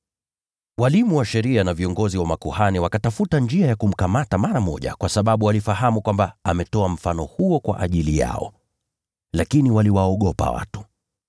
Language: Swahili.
Walimu wa sheria na viongozi wa makuhani wakatafuta njia ya kumkamata mara moja, kwa sababu walifahamu kwamba amesema mfano huo kwa ajili yao. Lakini waliwaogopa watu.